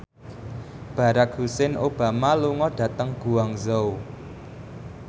Barack Hussein Obama lunga dhateng Guangzhou